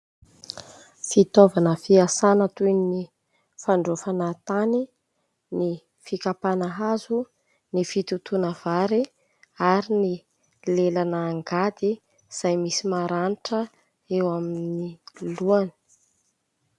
Fitaovana fiasana toy ny fandraofana tany, ny fikampana hazo, ny fitotoana vary ary ny lelana angady izay misy maranitra eo amin'ny lohany.